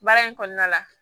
Baara in kɔnɔna la